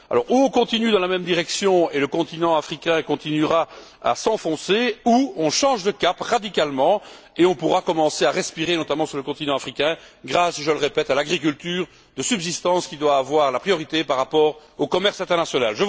Soit on continue dans la même direction et le continent africain continuera de s'enfoncer, soit on change radicalement de cap et on pourra commencer à respirer, notamment sur le continent africain grâce, je le répète, à l'agriculture de subsistance qui doit avoir la priorité par rapport au commerce international.